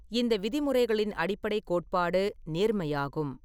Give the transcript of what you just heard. இந்த விதிமுறைகளின் அடிப்படைக் கோட்பாடு நேர்மையாகும்.